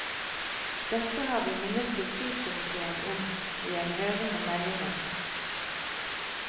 Dette har vi minnet kulturkomitéen om i en høring om meldingen.